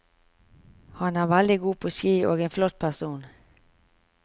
Han er veldig god på ski og en flott person.